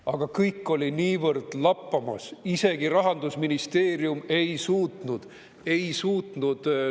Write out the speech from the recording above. Aga kõik oli niivõrd lappamas, isegi Rahandusministeerium ei suutnud – ei suutnud!